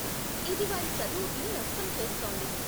ఇది వారి చదువుకి నష్టం చేస్తోంది.